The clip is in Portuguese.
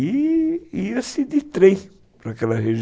E ia-se de trem para aquela regi